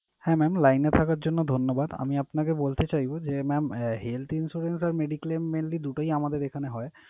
হ্যাঁ mam line এ থাকার জন্য ধন্যবাদ। আমি আপনাকে বলতে চাইবো যে, mam আহ health insurance আর mediclaim mainly দুটোই আমাদের এখানে হয়।